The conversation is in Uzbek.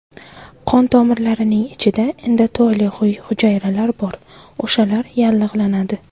Qon tomirlarining ichida endoteliy hujayralar bor, o‘shalar yallig‘lanadi.